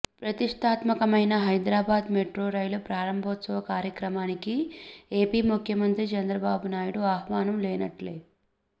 ప్రతిష్టాత్మకమైన Hyderabad metro rail ప్రారంభోత్సవ కార్యక్రమానికి ఏపి ముఖ్యమంత్రి చంద్రబాబునాయుడుకు ఆహ్వానం లేనట్లే